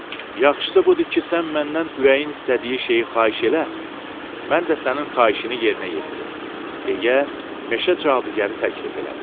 Yaxşısı budur ki, sən məndən ürəyin istədiyi şeyi xahiş elə, mən də sənin xahişini yerinə yetirim, deyə meşə cadugəri təklif elədi.